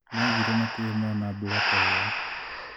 Moigire matirĩ mona mbura ta ĩyo.